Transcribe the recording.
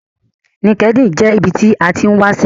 LinkedIn jẹ́ ibi tí a tín wáṣẹ́